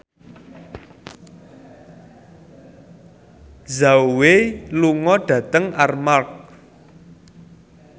Zhao Wei lunga dhateng Armargh